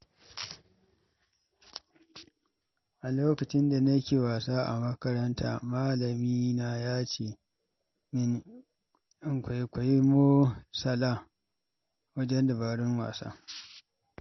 A lokacin da nake wasa a makaranta, malamina ya ce min in kwaikwayi Mo Salah wajen dabarun wasa.